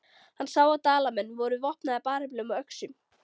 Hann sá að Dalamenn voru vopnaðir bareflum og öxum.